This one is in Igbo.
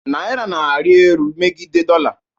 Naira na-arị elu megide dollar